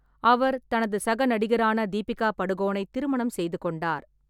அவர் தனது சக நடிகரான தீபிகா படுகோனை திருமணம் செய்து கொண்டார்.